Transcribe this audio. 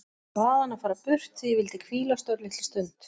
Ég bað hann að fara burt því ég vildi hvílast örlitla stund.